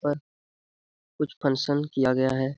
पर कुछ फंशन किया गया है।